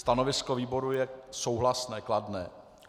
Stanovisko výboru je souhlasné, kladné.